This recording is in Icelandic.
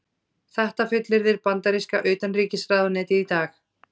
Þetta fullyrðir bandaríska utanríkisráðuneytið í dag